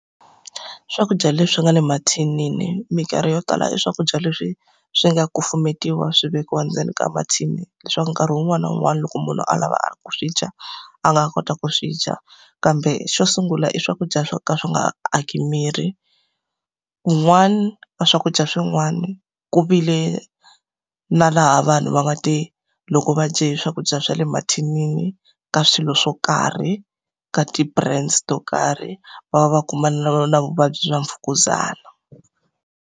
Swakudya leswi nga le mathinini minkarhi yo tala i swakudya leswi swi nga kufumetiwa swi vekiwa endzeni ka mathini leswaku nkarhi wun'wani na wun'wani loko munhu a lava ku swi dya, a nga kota ku swi dya. Kambe xo sungula i swakudya swo ka swi nga aki miri. Kun'wani ka swakudya swin'wana ku vi le na laha vanhu va nga te loko va dye swakudya swa le mathinini, ka swilo swo karhi, ka ti-brands to karhi va va va kumana na vuvabyi bya mfukuzana.